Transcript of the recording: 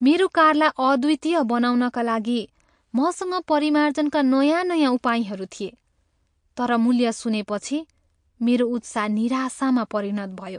मेरो कारलाई अद्वितीय बनाउनका लागि मसँग परिमार्जनका नयाँ नयाँ उपायहरू थिए, तर मूल्य सुनेपछि, मेरो उत्साह निराशामा परिणत भयो।